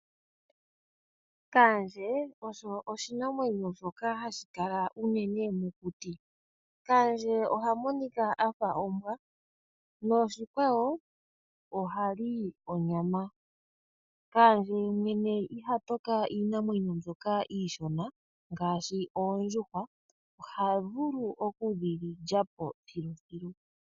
Kaandje osho oshinamwenyo shoka hashi kala unene mokuti . Kaandje ohamonika afa ombwa ye ohali onyama . Kaandje yemwene iha toka iinamwenyo mbyoka iishona ngaashi oondjuhwa, ohavulu oku dhilyapo thiluthilu.